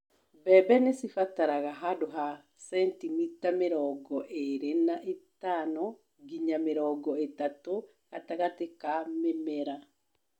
Mbembe nĩcibataraga handũ ha cenitimita mĩrongo ĩrĩ na ithano nginya mĩrongo ĩtatũ gatagatĩ ka mĩmera.